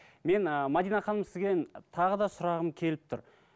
мен ы мәдина ханым сізден тағы да сұрағым келіп тұр